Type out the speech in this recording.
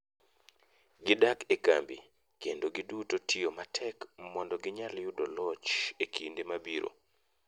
gidak e kambi kendo gi duto tiyo matek mondo ginyal yudo loch e kinde mabiro.